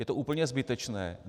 Je to úplně zbytečné.